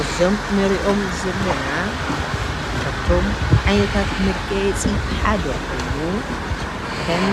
እዞም እንሪኦም ዘለና ካብቶም ዓይነታታት መጋየፂ ሓደ ኾይኑ ከም